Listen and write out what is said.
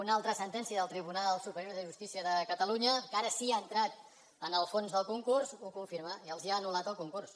una altra sentència del tribunal superior de justícia de catalunya que ara sí que ha entrat en el fons del concurs ho confirma i els ha anul·lat el concurs